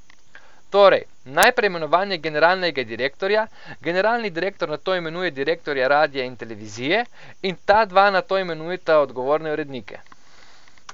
Torej, najprej imenovanje generalnega direktorja, generalni direktor nato imenuje direktorja radia in televizije, in ta dva nato imenujeta odgovorne urednike.